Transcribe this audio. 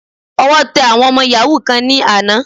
Ọwọ́ tẹ àwọn ọmọ yàhú kan ní àná.